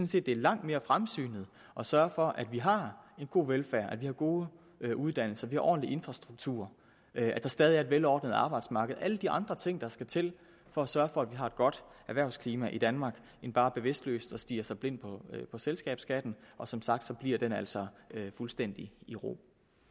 set det er langt mere fremsynet at sørge for at vi har en god velfærd at vi har gode uddannelser at vi ordentlig infrastruktur at der stadig er et velordnet arbejdsmarked og alle de andre ting der skal til for at sørge for at vi har et godt erhvervsklima i danmark end bare bevidstløst at stirre sig blind på selskabsskatten og som sagt forbliver den altså fuldstændig i ro